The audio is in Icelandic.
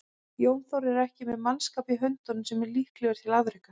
Jón Þór er ekki með mannskap í höndunum sem er líklegur til afreka.